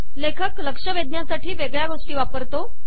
लेखक लक्ष वेधण्यासाठी वेगळ्या गोष्टी वापरतो